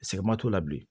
Sɛgɛnma t'o la bilen